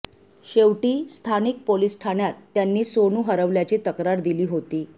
शेवटी स्थानिक पोलीस ठाण्यात त्यांनी सोनू हरवल्याची तक्रार दिली होती